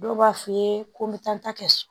Dɔw b'a f'i ye ko n bɛ taa n ta kɛ so